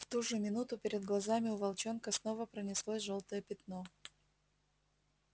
в ту же минуту перед глазами у волчонка снова пронеслось жёлтое пятно